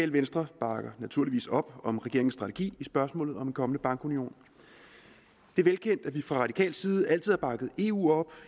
venstre bakker naturligvis op om regeringens strategi i spørgsmålet om en kommende bankunion det er velkendt at vi fra radikal side altid har bakket eu op